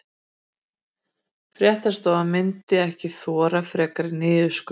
Fréttastofan myndi ekki þola frekari niðurskurð